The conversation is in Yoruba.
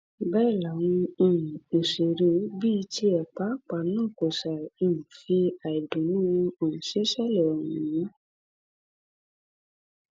bẹẹ làwọn um òṣèré bíi tiẹ pàápàá náà kò ṣàì um fi àìdùnnú wọn hàn sí ìṣẹlẹ ọ̀hún